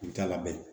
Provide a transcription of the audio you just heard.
I t'a labɛn